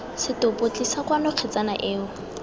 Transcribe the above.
setopo tlisa kwano kgetsana eo